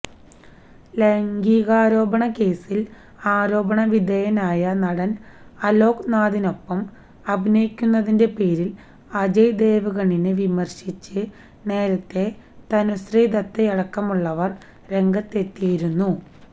ലൈംഗികാരോപണ കേസിൽ ആരോപണവിധേയനായ നടൻ അലോക്നാഥിനൊപ്പം അഭിനയിക്കുന്നതിന്റെ പേരിൽ അജയ് ദേവ്ഗണിനെ വിമർശിച്ച് നേരത്തെ തനുശ്രീദത്തയടക്കമുള്ളവർ രംഗത്തെത്തിയിരുന്നു